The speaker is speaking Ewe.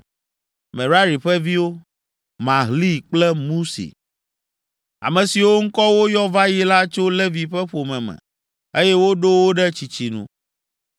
Merari ƒe viwo: Mahli kple Musi. Ame siwo ŋkɔ woyɔ va yi la tso Levi ƒe ƒome me, eye woɖo wo ɖe tsitsi nu.